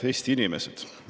Head Eesti inimesed!